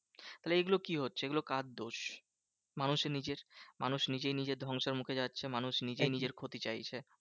তাহলে এগুলো কি হচ্ছে? এগুলো কার দোষ? মানুষের নিজের মানুষ নিজেই নিজের ধ্বংসের মুখে যাচ্ছে। মানুষ নিজেই নিজের ক্ষতি চাইছে।